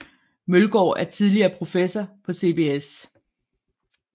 Møllgaard er tidligere professor på CBS